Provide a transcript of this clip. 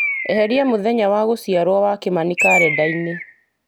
eheria mũthenya wa gũciarwo wa kĩmani karenda-inĩ